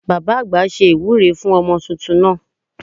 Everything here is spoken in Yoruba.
Baba àgbà ṣe ìwúre fún ọmọ tuntun náà